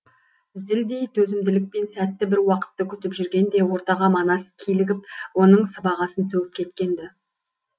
зілдей төзімділікпен сәтті бір уақытты күтіп жүргенде ортаға манас килігіп оның сыбағасын төгіп кеткен ді